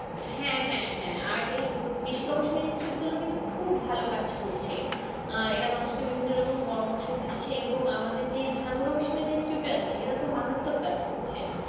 হ্যাঁ হ্যাঁ হ্যাঁ আর এই কৃষি গবেষণা Institute গুলো কিন্তু খুব ভালো কাজ করছে আহ এরা মানুষকে বিভিন্ন রকম পরামর্শ দিচ্ছে এবং আমাদের যে ধান গবেষণা Institute এরা তো মারাত্মক কাজ করছে